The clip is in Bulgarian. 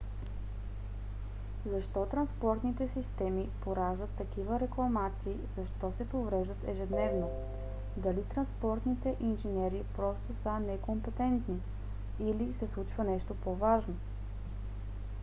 защо транспортните системи пораждат такива рекламации защо се повреждат ежедневно? дали транспортните инженери просто са некомпетентни? или се случва нещо по-важно?